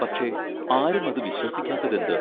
പക്ഷേ, ആരും അതു വിശ്വസിക്കാത്തതെന്ത്?